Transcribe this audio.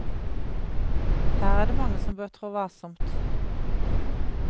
Her er det mange som bør trå varsomt.